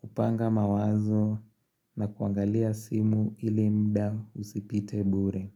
kupanga mawazo na kuangalia simu ili mda usipite bure.